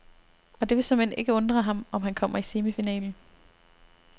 Og det vil såmænd ikke undre ham, om han kommer i semifinalen.